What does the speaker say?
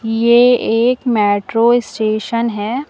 ये एक metro station है।